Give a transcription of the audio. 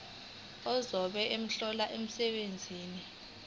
ozobe ehlola umsebenzi